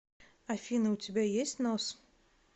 афина у тебя есть нос